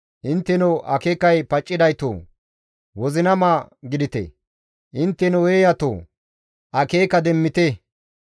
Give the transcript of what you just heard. Intteno akeekay paccidaytoo! wozinama gidite; intteno eeyatoo akeeka demmite.